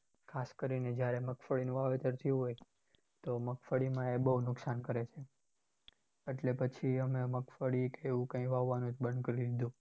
ખાસ કરીને જ્યારે મગફળીનું વાવેતર થયું હોય તો મગફળીમાં એ બહુ નુકશાન કરે છે. એટલે અમે પછી મગફળી કે એવું કઈ વાવવાનું જ બંધ કરી દીધું.